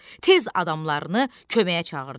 Tez adamlarını köməyə çağırdı.